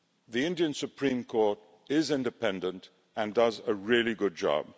The Indian Supreme Court is independent and does a really good job.